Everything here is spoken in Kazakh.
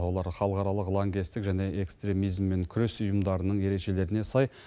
олар халықаралық лаңкестік және экстремизммен күрес ұйымдарының ережелеріне сай